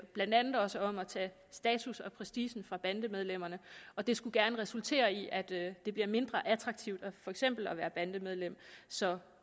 blandt andet også om at tage status og prestige fra bandemedlemmerne og det skulle gerne resultere i at det bliver mindre attraktivt for eksempel at være bandemedlem så